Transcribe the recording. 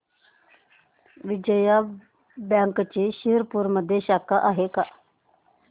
विजया बँकची शिरपूरमध्ये शाखा आहे का